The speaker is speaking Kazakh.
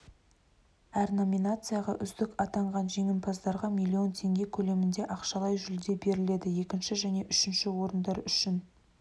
әр номинация5а үздік атанған жеңімпаздарға млн теңге көлемінде ақшалай жүлде беріледі екінші және үшінші орындар үшін